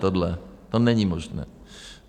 Tohle to není možné.